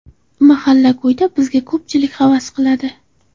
Mahalla ko‘yda bizga ko‘pchilik havas qiladi.